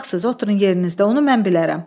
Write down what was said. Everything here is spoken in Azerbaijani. Uşaqsız, oturun yerinizdə, onu mən bilərəm.